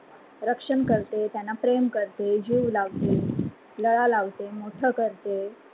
रक्षना करते, त्यान्ना प्रेम करते, जीव लावते, लळा लावते, मोठ करते.